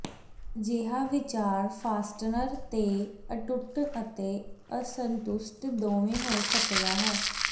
ਅਜਿਹਾ ਵਿਚਾਰ ਫਾਸਟਨਰ ਤੇ ਅਟੁੱਟ ਅਤੇ ਅਸੰਤੁਸ਼ਟ ਦੋਵੇਂ ਹੋ ਸਕਦਾ ਹੈ